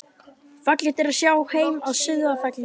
Fallegt er að sjá heim að Sauðafelli.